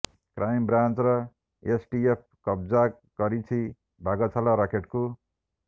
crime ବ୍ରାଞ୍ଚର STF କବ୍ଜା କରିଛି ବାଘ ଛାଲ ରାକେଟକୁ